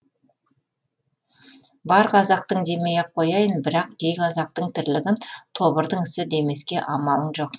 бар қазақтың демей ақ қояйық бірақ кей қазақтың тірлігін тобырдың ісі демеске амалың жоқ